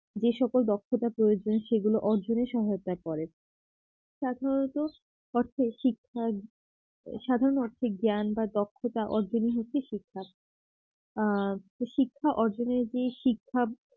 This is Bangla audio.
যে সকল দক্ষতার প্রয়োজন সেগুলো অর্জনের সহায়তা করে সাধারণত অর্থে শিক্ষা সাধারণ অর্থে জ্ঞান বা দক্ষতা অর্জনই হচ্ছে শিক্ষা আ শিক্ষা অর্জনের যেই শিক্ষা